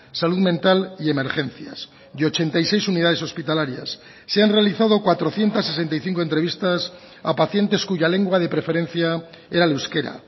salud mental y emergencias y ochenta y seis unidades hospitalarias se han realizado cuatrocientos sesenta y cinco entrevistas a pacientes cuya lengua de preferencia era el euskera